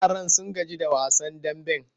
Yaran sun gaji da wasan damben.